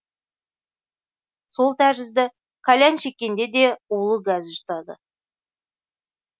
сол тәрізді кальян шеккенде де улы газ жұтады